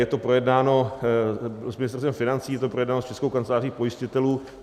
Je to projednáno s Ministerstvem financí, je to projednáno s Českou kanceláří pojistitelů.